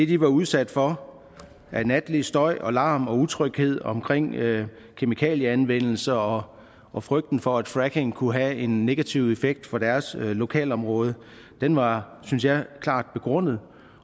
de var udsat for natlig støj og larm og utryghed omkring kemikalieanvendelse og og frygten for at fracking kunne have en negativ effekt for deres lokalområde var synes jeg klart begrundet